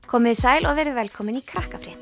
komiði sæl og verið velkomin í